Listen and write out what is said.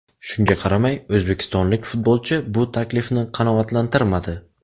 Shunga qaramay, o‘zbekistonlik futbolchi bu taklifni qanoatlantirmadi.